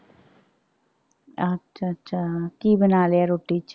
ਅੱਛਾ ਅੱਛਾ ਕੀ ਬਣਾ ਲਿਆ ਰੋਟੀ ਚ।